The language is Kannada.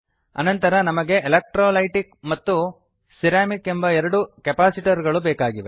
ಅನಂತರ ನಮಗೆ ಎಲೆಕ್ಟ್ರೋಲೈಟಿಕ್ ಹಾಗೂ ಸಿರಮಿಕ್ ಎಂಬ ಎರಡು ಕೆಪಾಸಿಟರ್ ಗಳು ಬೇಕಾಗಿವೆ